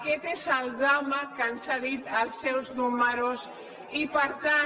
aquest és el drama que ens han dit els seus números i per tant